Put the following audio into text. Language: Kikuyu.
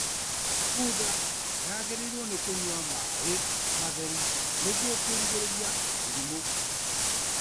Bunda yagĩrĩirwo nĩ kũnyua maaĩ matheru nĩguo kũrigĩrĩria mĩrimũ